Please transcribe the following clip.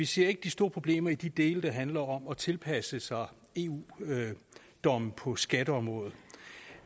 ser de store problemer med de dele der handler om at tilpasse sig eu domme på skatteområdet